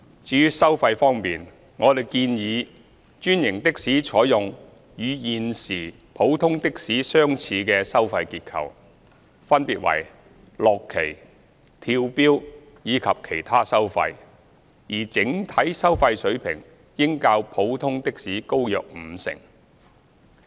至於收費方面，我們建議專營的士採用與現時普通的士相似的收費結構，分別為落旗、跳錶及其他收費，而整體收費水平應較普通的士高約五成。